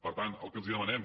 per tant el que els demanem